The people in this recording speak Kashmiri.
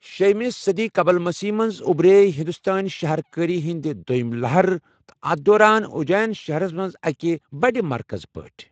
شے مہِ صٔدی قبل مسیح منٛز اُبرَے ہندوستٲنی شَہر کٲری ہٕنٛدِ دوٚیِمہِ لَہرٕ تہٕ اَتھ دوران، اُجین شہرَس منٛز اَکہِ بٔڑِ مرکَز پٲٹھۍ۔